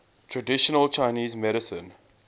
traditional chinese medicine